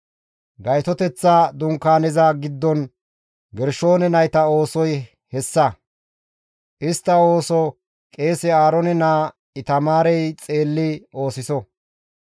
Gaytoteththa Dunkaaneza giddon Gershoone nayta oosoy hessa; istta ooso qeese Aaroone naa Itamaarey xeelli oosiso.